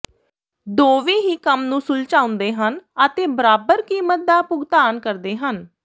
ਦੋਵੇਂ ਹੀ ਕੰਮ ਨੂੰ ਸੁਲਝਾਉਂਦੇ ਹਨ ਅਤੇ ਬਰਾਬਰ ਕੀਮਤ ਦਾ ਭੁਗਤਾਨ ਕਰਦੇ ਹਨ